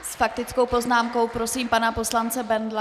S faktickou poznámkou prosím pana poslance Bendla.